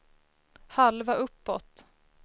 halva uppåt